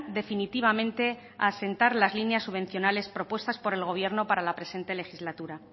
definitivamente a asentar las líneas subvencionales propuestas por el gobierno para la presente legislatura